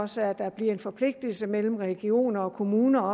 så der bliver en forpligtelse mellem regioner og kommuner